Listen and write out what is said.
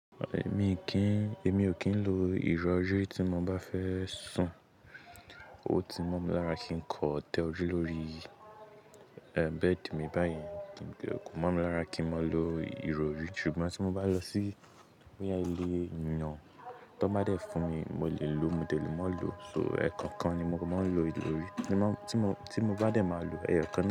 Èmi ò kí ń lo ìrọrí tí mo bá fẹ́ sùn. Ó ti mọ́ mi lára kí n kin kan tẹ ojú lórí bed mi bá yẹn. Kò mọ̀ mi lára kí n má lo ìrori, ṣùgbọ́n tí mo bá lọ sí ilé miran. Tí wọ́n bá dẹ fún mi, mo lè lo, mò dẹ lè má lo. So, ẹ̀kọ̀ọkan ni mo máa ń lo ìròrí. Tí mo bá dẹ màá lo ẹyọ kan.